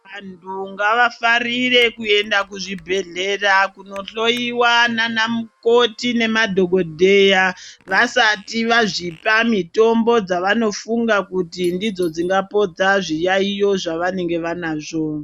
Anthu ngavafarire kuenda kuzvibhedhlera kunohloyiwa nanamukoti nemadhokodheya vasati vazvipa mitombo dzavanofunga kuti ndidzo dzingapodza zviyaiyo zvavanenge vanazvo.